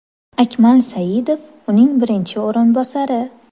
Akmal Saidov uning birinchi o‘rinbosari.